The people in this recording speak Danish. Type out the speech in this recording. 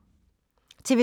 TV 2